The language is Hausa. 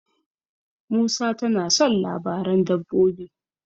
Musa tana son labaran dabbobi.